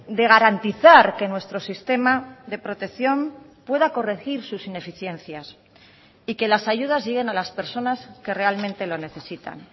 de garantizar que nuestro sistema de protección pueda corregir sus ineficiencias y que las ayudas lleguen a las personas que realmente lo necesitan